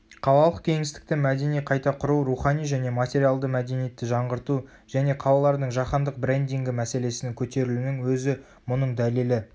қалалық кеңістікті мәдени қайта құру рухани және материалды мәдениетті жаңғырту және қалалардың жаһандық брендингі мәселесінің көтерілуінің өзі мұның дәлелі